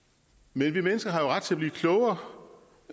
men vi mennesker har jo ret til at blive klogere